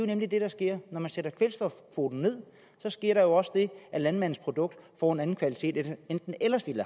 nemlig det der sker når man sætter kvælstofkvoten ned sker der også det at landmandens produkt får en anden kvalitet end det ellers ville